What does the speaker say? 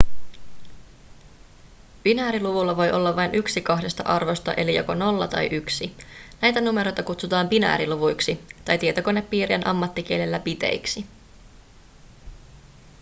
binääriluvulla voi olla vain yksi kahdesta arvosta eli joko 0 tai 1 näitä numeroita kutsutaan binääriluvuiksi tai tietokonepiirien ammattikielellä biteiksi